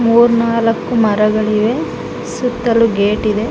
ಮೂರೂ ನಾಲ್ಕು ಮರಗಳಿವೆ ಸುತ್ತಲೂ ಗೇಟ್ ಇವೆ.